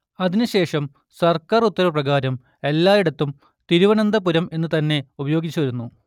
അതിനു ശേഷം സർക്കാർ ഉത്തരവു പ്രകാരം എല്ലായിടത്തും തിരുവനന്തപുരം എന്നുതന്നെ ഉപയോഗിച്ചുപോരുന്നു